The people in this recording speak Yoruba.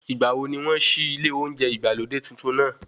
Ìgbàwo ni wọ́n ṣí ilé oúnjẹ ìgbàlódé tuntun náà?